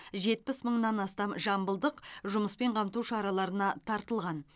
жетпіс мыңнан астам жамбылдық жұмыспен қамту шараларына тартылған